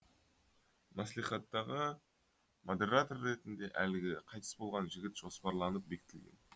мәслихаттағы модератор ретінде әлгі қайтыс болған жігіт жоспарланып бекітілген